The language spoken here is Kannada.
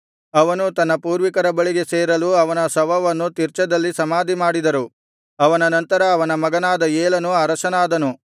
ಅವನು ತನ್ನ ಪೂರ್ವಿಕರ ಬಳಿಗೆ ಸೇರಲು ಅವನ ಶವವನ್ನು ತಿರ್ಚದಲ್ಲಿ ಸಮಾಧಿಮಾಡಿದರು ಅವನ ನಂತರ ಅವನ ಮಗನಾದ ಏಲನು ಅರಸನಾದನು